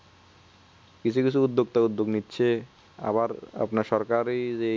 কিছু কিছু উদ্যোগ তো উদ্যোগ নিচ্ছে আবার আপনার সরকারি